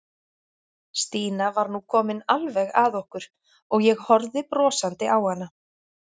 Stína var nú komin alveg að okkur og ég horfði brosandi á hana.